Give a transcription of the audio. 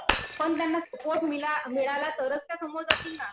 पण त्यांना सपोर्ट मिळाला तरच त्या समोर जातील ना